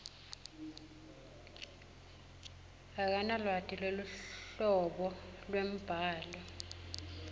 akanalwati lweluhlobo lwembhalo